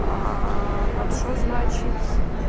вот что значить